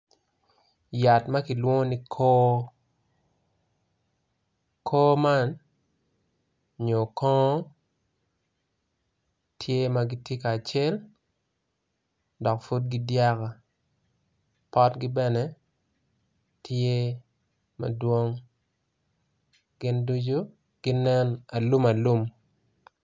Yat makilwongo ni kor kongo man nyo kor tye magitye kacel dok pud ki dyaba potgi bene tye madwong gin ducu ginen alumalum.